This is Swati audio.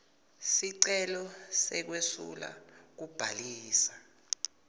sicelo sekwesula kubhalisa